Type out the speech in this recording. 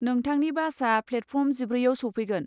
नोंथांनि बासआ प्लेटफर्म जिब्रैआव सौफैगोन।